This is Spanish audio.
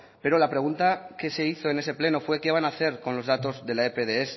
pero la pregunta que se hizo en ese pleno fue qué van a hacer con los datos de la epds